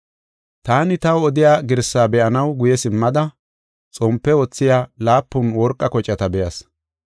Taani taw odiya girsaa be7anaw guye simmada xompe wothiya laapun worqa kocata be7as.